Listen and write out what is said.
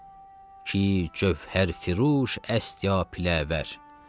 Ki cövhər fıruş əst ya piləvər.